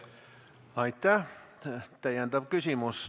Täiendav küsimus.